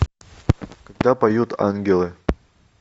когда поют ангелы